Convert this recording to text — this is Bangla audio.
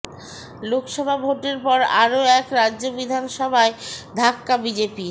লোকসভা ভোটের পর আরও এক রাজ্য বিধানসভায় ধাক্কা বিজেপির